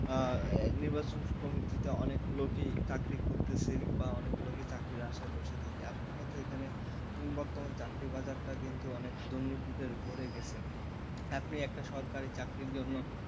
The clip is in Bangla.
নির্বাচন কমিটিতে অনেক লোকই চাকরি করতেছে বা অনেক লোকই চাকরির আশায় বসে থাকে আসল কথা এখানে বর্তমান চাকরি বাজারটা কিন্তু অনেক দুর্নীতিতে ভরে গেছে আপনি একটা সরকারি চাকরির জন্য,